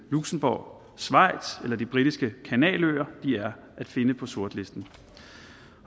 luxembourg schweiz eller de britiske kanaløer er at finde på sortlisten